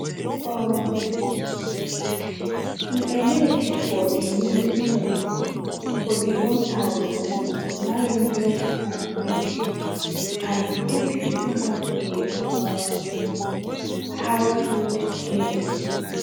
um e emerge for di music scene for di one thousand, nine hundred and ninetys and quickly become a um household name